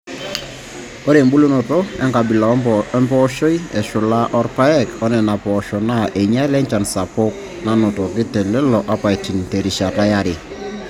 Ore embulunoto enkabila empooshoi eshula rpayek oNena poosho naa einyiala enchan sapuk nanotoki telelo apaitini terishata yare.